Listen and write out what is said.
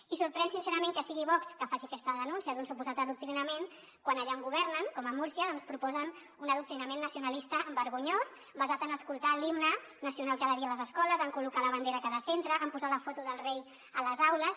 i sorprèn sincerament que sigui vox que faci aquesta denúncia d’un suposat adoc·trinament quan allà on governen com a murcia doncs proposen un adoctrinament nacionalista vergonyós basat en escoltar l’himne nacional cada dia a les escoles en col·locar la bandera a cada centre en posar la foto del rei a les aules